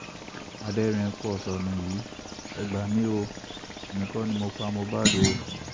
adẹ́rìn-ín-pọ̀ṣónú yìí e gbà mí o èmi kò ní mo pa mohbad o